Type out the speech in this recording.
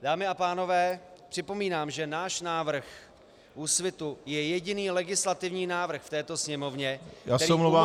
Dámy a pánové, připomínám, že náš návrh Úsvitu je jediný legislativní návrh v této Sněmovně, který umožňuje -